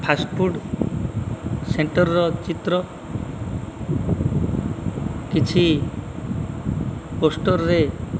first food centre ର ଚିତ୍ର କିଛି ପୋଷ୍ଟର ରେ --